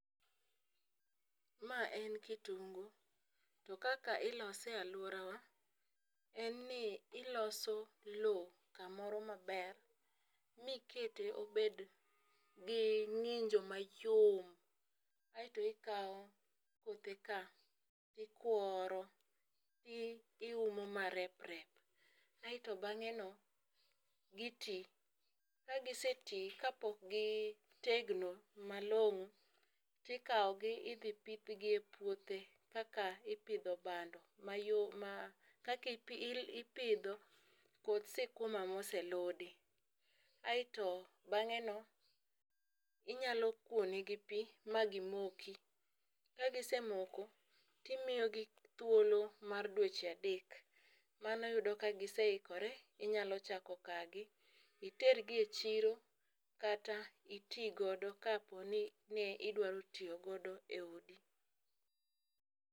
Ma en kitungu , to kaka ilose e aluorawa en ni iloso lowo kamoro maber mikete obed gi ng'injo mayom .Aeto ikawo kothe ka tikworo iumo ma reprep aeto bang'e no gitii. Ka gisetii kapok gitegno malong'o tikawo gi idhi pidhgi e puothe kaka ipidho bando mayo ma kaki ipidho koth sikuma moseludi. Aeto bang'e no inyalo kuone gi pii ma gimoki . Ka gisemoko timiyo gi thuolo mar dweche adek. Mano yudo ka giseikore inyalo chako kagi itergi e chiro kata itii godo kapo ni idwaro tiyo godo e odi.